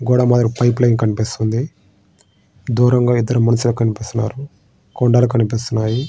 గోడ మాదిరి pipeline కనిపిస్తుంది దూరంగా ఇద్దరు మనుషులు కనిపిస్తున్నారు కొండలు కనిపిస్తున్నాయి.